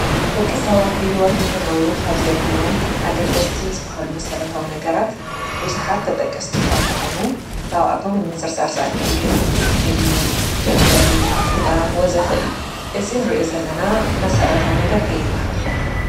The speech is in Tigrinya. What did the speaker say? ደቂ ሰባት ብሂወት ንክነብሩ ካብ ዘድልዮም ኣገደስቲ ካብ ዝበሃሉ መሰረታዊ ነገራት ቡዙሓት ተጠቀስቲ እኳን እንተኮኑ ካብኣቶም ንምዝርዛር ዝኣክል ግን ምግቢ ፣መፅለሊ ክዳን ወዘተ እዩም፡፡ እዚ እንሪኦ ዘለና መሰረታዊ ነገር እንታይ ይባሃል?